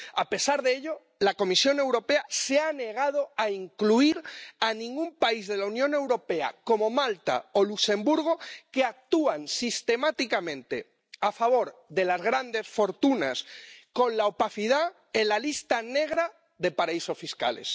A pesar de ello, la Comisión Europea se ha negado a incluir a ningún país de la Unión Europea —como Malta o Luxemburgo, que actúan sistemáticamente a favor de las grandes fortunas con la opacidad— en la lista negra de paraísos fiscales.